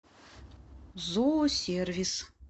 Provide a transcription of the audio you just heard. зоосервис